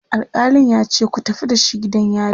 alkalin yace"ku tafi da shi gidan yari!"